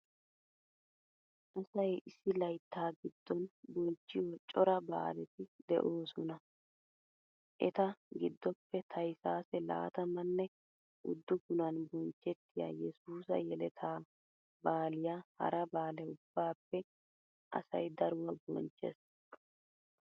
Asay issi layttaa giddon bonchchiyo cora baaleti de'oosona. Eta giddoppe taysaase laatammanne uddufunan bonchchettiya yesuusa yeletaa baaliya hara baale ubbappe asay daruwa bonchchees.